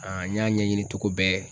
An n y'a ɲɛɲini togo bɛɛ